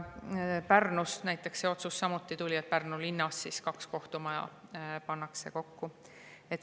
Pärnus tuli samuti see otsus, et Pärnu linnas pannakse kaks kohtumaja kokku.